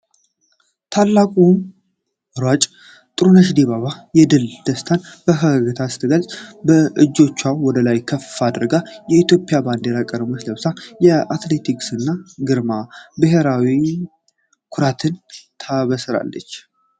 ታላቋ ሯጭ ጥሩነሽ ዲባባ የድል ደስታን በፈገግታ ስትገልጽ! እጆቿን ወደ ላይ ከፍ አድርጋ፣ የኢትዮጵያን ባንዲራ ቀለሞች ለብሳ፣ የአትሌቲክስን ግርማና ብሔራዊ ኩራትን ታበስራለች።